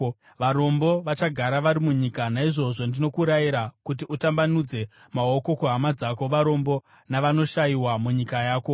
Varombo vachagara varimo munyika. Naizvozvo ndinokurayira kuti utambanudze maoko kuhama dzako varombo navanoshayiwa munyika yako.